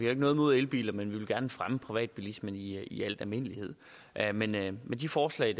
har noget imod elbiler men vi vil gerne fremme privatbilismen i i al almindelighed almindelighed men de forslag